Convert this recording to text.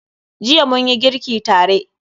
Jiya munyi girki tare.